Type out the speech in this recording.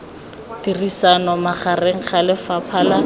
tirisano magareng ga lefapha la